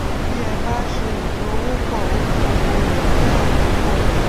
bí ẹ bá ṣe ìdòwòpò okòwò rẹ jẹ àjopò